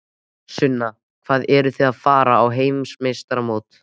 Sunna: Og eruð þið að fara á heimsmeistaramót?